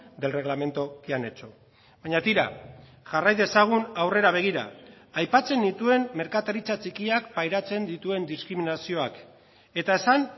del reglamento que han hecho baina tira jarrai dezagun aurrera begira aipatzen nituen merkataritza txikiak pairatzen dituen diskriminazioak eta esan